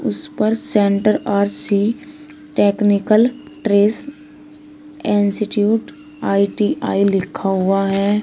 उस पर centre R C technical trades institute I T I लिखा हुआ है।